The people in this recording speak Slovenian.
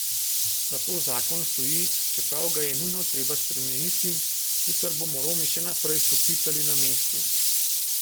Zato zakon stoji, čeprav ga je nujno treba spremeniti, sicer bomo Romi še naprej stopicali na mestu.